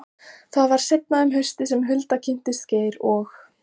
Það var seinna um haustið sem Hulda kynntist Geir og